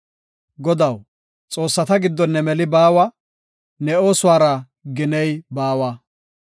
Godaw, xoossata giddon ne meli baawa; ne oosuwara giney baawa.